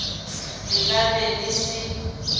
le ka be le se